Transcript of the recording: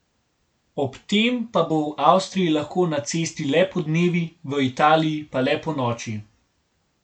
Ob tem pa bo v Avstriji lahko na cesti le podnevi, v Italiji pa le ponoči.